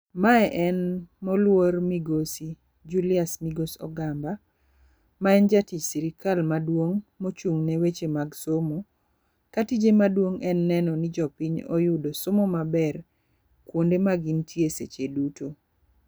Mae en moluor migosi Julius Migos Ogamba. Ma en jatich sirkal maduong', ma ochung' ne weche mag somo. Ka tije maduong' en neno ni ati jopiny oyudo somo maber kuonde ma gintie seche duto.